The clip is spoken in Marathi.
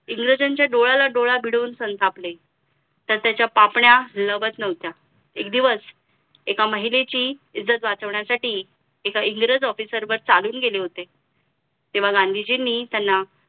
इंग्रजांच्या डोळ्याला डोळा भिडवून संतापले तर त्याच्या पापण्या लवत नव्हत्या एक दिवस एका महिलेची इज्जत वाचवण्यासाठी एका इंग्रज officer वर चालून गेले होते तेव्हा गांधीजीनो त्यांना